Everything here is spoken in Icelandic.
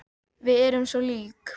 Við erum svo lík.